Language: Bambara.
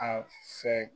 A fɛ